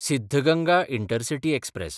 Siddaganga intercity express